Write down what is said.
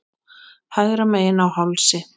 Hægra megin á hálsi.